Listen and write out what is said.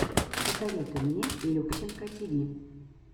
посоветуй мне любченко тиви